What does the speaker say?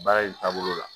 Baara in taabolo la